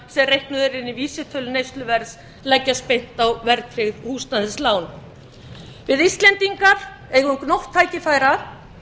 reiknaðir eru inn í vísitölu neysluverðs leggjast beint á verðtryggð húsnæðislán við íslendingar eigum gnótt tækifæra